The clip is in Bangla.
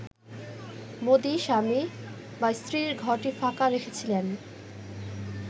মোদি স্বামী/স্ত্রীর ঘরটি ফাঁকা রেখেছিলেন